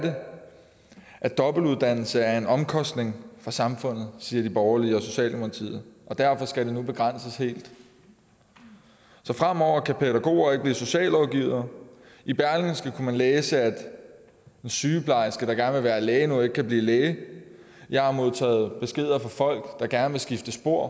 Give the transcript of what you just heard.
at dobbeltuddannelse er en omkostning for samfundet siger de borgerlige og socialdemokratiet og derfor skal det nu begrænses helt så fremover kan pædagoger ikke blive socialrådgivere i berlingske kunne læse man læse at en sygeplejerske der gerne vil være læge nu ikke kan blive læge jeg har modtaget beskeder fra folk der gerne vil skifte spor